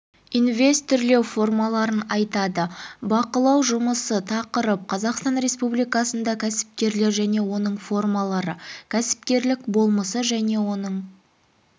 инвестирлеу формаларын атайды бақылау жұмысы тақырып қазақстан республикасында кәсіпкерлік және оның формалары кәсіпкерлік болмысы және оның